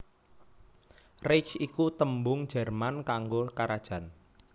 Reich iku tembung Jerman kanggo karajan